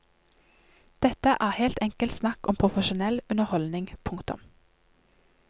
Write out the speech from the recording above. Dette er helt enkelt snakk om profesjonell underholdning. punktum